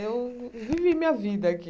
Eu vivi minha vida aqui.